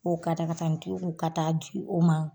O katakatanitigi ku ka taa'a di o ma